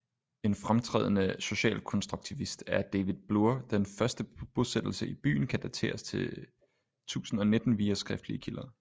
En fremtrædende socialkonstruktivist er david bloorDen første bosættelse i byen kan dateres til 1019 via skriftlige kilder